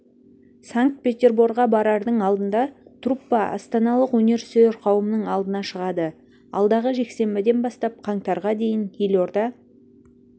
санкт-петерборға барардың алдында труппа астаналық өнер сүйер қауымның алдына шығады алдағы жексенбіден бастап қаңтарға дейін елорда